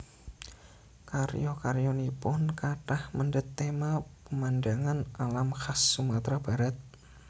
Karya karyanipun kathah mendhet téma pemandangan alam khas Sumatra Barat